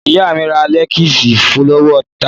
Ìyá mi rà léèsì lọ́wọ́ Tádé.